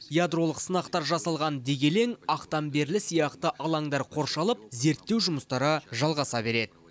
ядролық сынақтар жасалған дегелең ақтамберлі сияқты алаңдар қоршалып зерттеу жұмыстары жалғаса береді